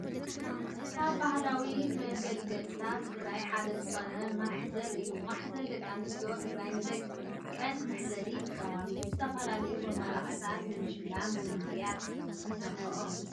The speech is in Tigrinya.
ካብ ባህላዊ መገልገልታት ትግራይ ሓደ ዝኾነ ማህዘል እዩ። ማህዘል ደቂ ኣንስትዮ ትግራይ ንደቀን መሕዘሊ ይጥቀማሉ። ብዝተፈለለዩ መመላክዕታት ብምሽላምን ብምግይያፅን ይሰርሓኦ።